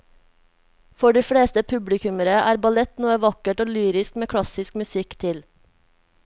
For de fleste publikummere er ballett noe vakkert og lyrisk med klassisk musikk til.